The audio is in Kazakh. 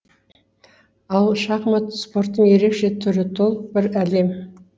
ал шахмат спорттың ерекше түрі толық бір әлем